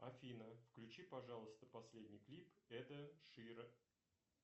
афина включи пожалуйста последний клип эда шира